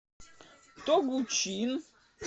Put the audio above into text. тогучин